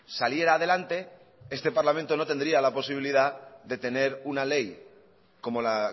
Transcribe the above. saliera adelante este parlamento no tendría la posibilidad de tener una ley como la